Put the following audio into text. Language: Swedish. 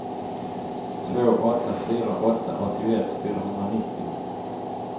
två åtta fyra åtta åttioett fyrahundranittio